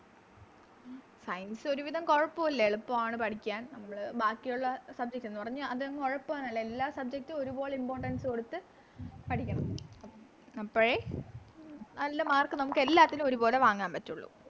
Science ഒരു വിധം കൊഴപ്പില്ല എളുപ്പാണ് പഠിക്കാൻ നമ്മള് ബാക്കിയൊള്ള Subject ന്നുപറഞ്ഞ് അതങ്ങ് ഒഴപ്പുവന്നല്ല എല്ലാ Subject ഉം ഒരുപോലെ Importance കൊടുത്ത് പഠിക്കണം അപ്പഴേ നല്ല Mark നമുക്ക് എല്ലാത്തിനും ഒരുപോലെ വാങ്ങാൻ പറ്റുള്ളൂ